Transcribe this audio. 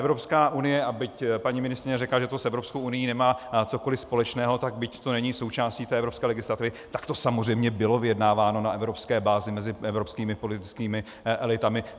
Evropská unie, a byť paní ministryně řekla, že to s Evropskou unií nemá cokoli společného, tak byť to není součástí té evropské legislativy, tak to samozřejmě byla vyjednáváno na evropské bázi mezi evropskými politickými elitami.